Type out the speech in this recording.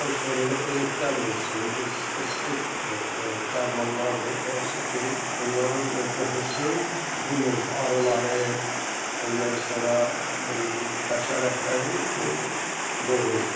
Ondan sonra repellentlər vursun, bu spesifik dərmanlardır, hansı ki, onların o qoxusu bu növ arıları, ondan sonra belə ki, həşəratları o qovur.